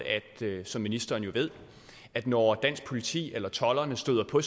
som ministeren jo ved at når det danske politi eller tolderne støder på